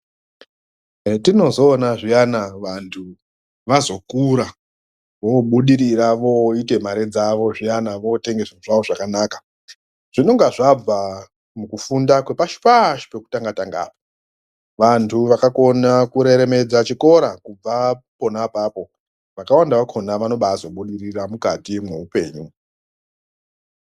Etinozoona zviyana vandhu vazokura voobudirira , vooita mare dzavo zviyana ,vootenga zviro zvavo zvakanaka zvinonga zvabva mukufunda kwepashi-pashi pekutanga-tanga apa. vandhu vakakona kureremedza chikora kubva pona apapo vakawanda vakhona vanozobabudirira kubva mukati meupenyu .